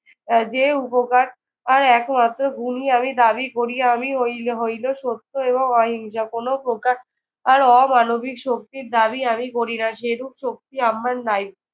যে উপকার আর একমাত্র আমি দাবি করিয়া আমি হই হইল সত্য এবং অহিংসা। কোনো প্রকার আর অমানবিক শক্তির দাবি আমি করি না। সেরূপ শক্তি আমার নাই।